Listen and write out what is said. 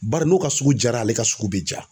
Bari n'o ka suku jara, ale ka suku be ja.